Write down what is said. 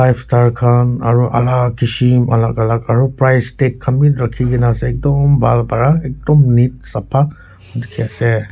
khan aru alak kishim alak alak aru price tag khan bi rakhikena ase ekdom bhal para ekdom neat sapha dikhi ase.